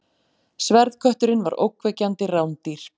Sverðkötturinn var ógnvekjandi rándýr.